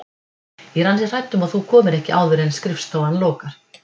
Ég er ansi hrædd um að þú komir ekki áður en skrifstofan lokar